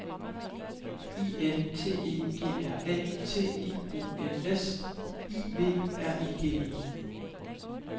I N T E G R A T I O N S I V R I G E